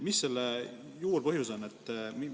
Mis selle juurpõhjus on?